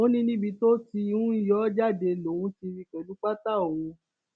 ó ní níbi tó ti ń yọ jáde lòun ti rí i pẹlú pátá òun